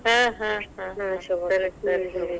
ಹಾ ಹಾ ಹಾ, ಸರಿ ಸರಿ.